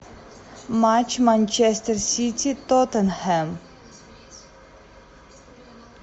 матч манчестер сити тоттенхэм